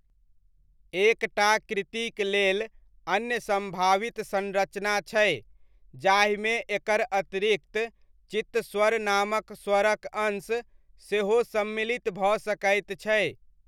एक टा कृतिक लेल अन्य सम्भावित संरचना छै, जाहिमे एकर अतिरिक्त चित्तस्वर नामक स्वरक अंश सेहो सम्मिलित भऽ सकैत छै।